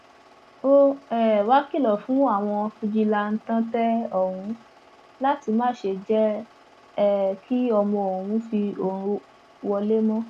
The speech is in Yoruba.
ó um wàá kìlọ fún àwọn fijilantàntẹ ọhún láti má ṣe jẹ um kí ọmọ òun fi òru wọlẹ mọ